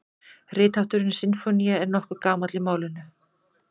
Rithátturinn sinfónía er nokkuð gamall í málinu.